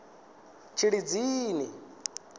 tshilidzini